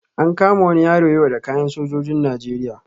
An kama wani yaro da kayan sojojin Najeriya.